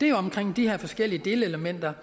er omkring de her forskellige delelementer